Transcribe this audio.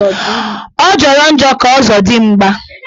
Ọ jọrọ njọ ka ọzọdigba